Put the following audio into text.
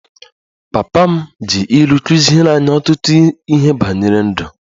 Papa m ji ilu kụziere anyị ọtụtụ ihe banyere ndụ